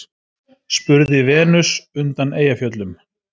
spurði Venus undan Eyjafjöllum.